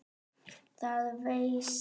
Það veistu.